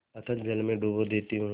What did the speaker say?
अतल जल में डुबा देती हूँ